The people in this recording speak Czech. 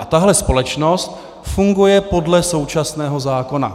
A tahle společnost funguje podle současného zákona.